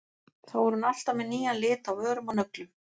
Þá er hún alltaf með nýjan lit á vörum og nöglum.